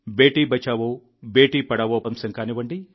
బేటీ బచావో బేటీ బచావో అంశం కానివ్వండి